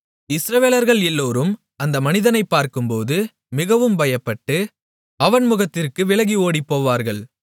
இஸ்ரவேலர்கள் எல்லோரும் அந்த மனிதனைப் பார்க்கும்போது மிகவும் பயப்பட்டு அவன் முகத்திற்கு விலகி ஓடிப்போவார்கள்